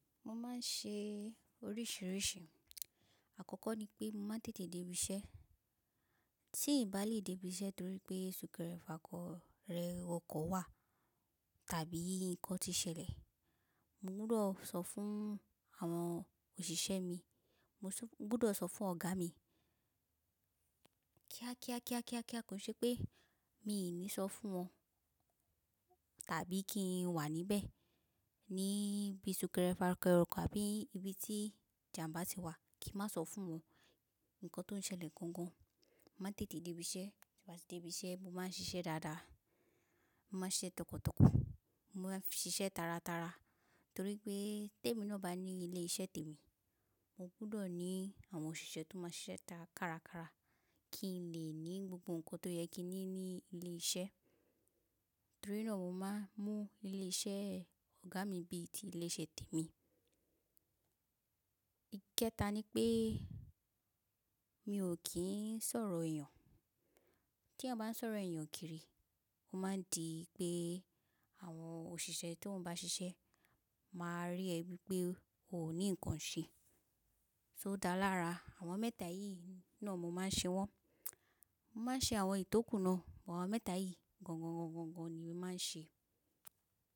Mo máa ń ṣe oríṣìíríṣìí. Àkọ́kọ́ ni pé mo máa ń tètè dé ibi iṣẹ́. Tí ìbá lè dé ibi iṣẹ́ torí pé súnkẹrẹ fàkọ̀ rẹ ọkọ̀ wà tàbí nǹkan ti ṣẹlẹ̀, mo gbọdọ̀ sọ fún àwọn òṣìṣẹ́ mi, mo gbọdọ̀ sọ fún ọ̀gá mi. Kíákíá, kíákíá, kíákíá kò ṣe pé mi ò ní sọ fún wọn tàbí kí n wà níbẹ̀ ní bí súnkẹrẹ fàkọ̀ rẹ ọkọ̀ àbí ibi tí ìjàmbá ti wà, kí n má sọ fún wọn nǹkan tó ń ṣẹlẹ̀ gangan. Mo máa ń tètè dé ibi iṣẹ́, tí mo bá dé ibi iṣẹ́, mo máa ń ṣiṣẹ́ dáadáa. Mo máa ń ṣiṣẹ́ tọkàntọkàn, mo máa ń ṣiṣẹ́ taratara torí pé té mi ló bá ní ilé iṣẹ́ tèmi, mo gbọdọ̀ ní àwọn òṣìṣẹ́ tó máa ń ṣiṣẹ́ ta kárakára kí n lè ní gbogbo nǹkan tó yẹ kí n ní ní ilé iṣẹ́. Torí náà mo máa ń mú ilé iṣẹ́ ọ̀gá mi bí i ti ilé iṣẹ́ tèmi. Ikẹta ni pé mi ò kí ń sọ̀rọ̀ èèyàn. Tí a bá ń sọ̀rọ̀ èèyàn kiri, ó máa di pé àwọn òṣìṣẹ́ tí wọ́n bá ṣiṣẹ́ máa rí ẹ bí pé o ò ní nǹkan ṣe. Só dàálárà àwọn mẹ́ta yìí náà mo máa ń ṣe wọ́n. Mo máa ń ṣe àwọn ìtókù náà, but àwọn mẹ́ta yìí gangan ni màá ṣe.